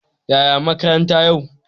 Yaya makaranta yau?